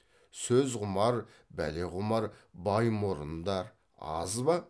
сөзқұмар бәлеқұмар баймұрындар аз ба